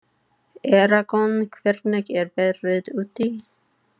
Eragon, hvernig er veðrið úti?